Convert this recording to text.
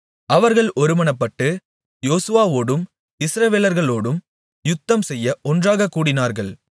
அவர்கள் ஒருமனப்பட்டு யோசுவாவோடும் இஸ்ரவேலர்களோடும் யுத்தம்செய்ய ஒன்றாகக் கூடினார்கள்